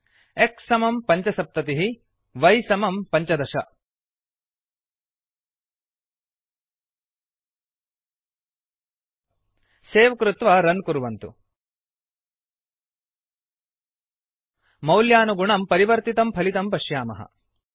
x75एक्स् समं पञ्चसप्ततिःy 15 वै समं पञ्चदश सेव् कृत्वा रन् कुर्वन्तु मौल्यानुगुणं परिवर्तितं फलितं पश्यामः